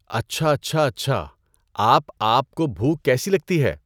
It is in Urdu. اچھا اچھا اچھا آپ آپ کو بُھوک کیسی لگتی ہے؟